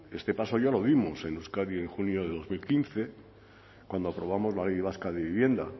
este paso ya lo dimos en euskadi en junio de dos mil quince cuando aprobamos la ley vasca de vivienda